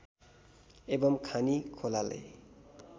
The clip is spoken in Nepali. एवं खानी खोलाले